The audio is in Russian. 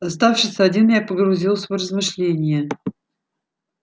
оставшись один я погрузился в размышления